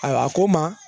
Ayiwa a ko n ma